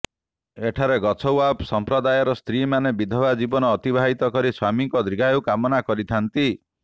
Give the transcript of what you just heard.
ଏଠାରେ ଗଛଓ୍ବାବ ସମ୍ପ୍ରଦାୟର ସ୍ତ୍ରୀମାନେ ବିଧବା ଜୀବନ ଅତିବାହିତ କରି ସ୍ବାମୀଙ୍କ ଦୀର୍ଘାୟୁ କାମନା କରିଥାଆନ୍ତି